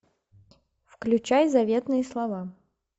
включай заветные слова